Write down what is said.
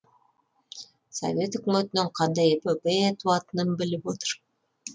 совет өкіметінен қандай эпопея туатынын біліп отыр